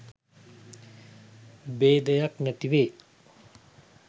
භේදය නැති වේ.